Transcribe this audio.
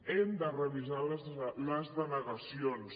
hem de revisar les denegacions